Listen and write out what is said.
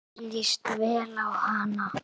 Mér líst vel á hana.